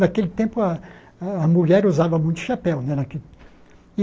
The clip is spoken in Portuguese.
Naquele tempo, a a a mulher usava muito chapéu. Né